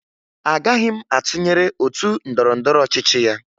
Agaghị m atụnyere otu ndọrọndọrọ ọchịchị ya